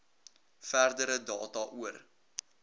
verdere data oor